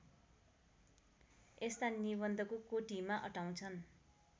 यस्ता निबन्धको कोटिमा अटाउँछन्